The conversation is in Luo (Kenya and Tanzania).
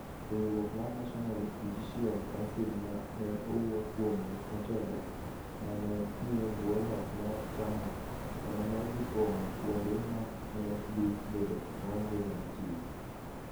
Riwruok mar National Judicial Council ma ne owuo kuome motelo, ma ne nie bwo loch mar chama, ema ne dhi pong'o kuonde ma ne dhi bedo maonge joma tiyo.